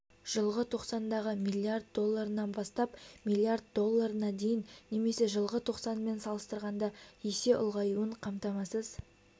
жылғы тоқсандағы млрд долларынан бастап млрд долларына дейін немесе жылғы тоқсанмен салыстырғанда есе ұлғаюын қамтамасыз